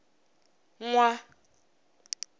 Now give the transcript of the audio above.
nwa